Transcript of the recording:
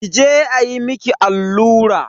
Ki je ayi miki allura.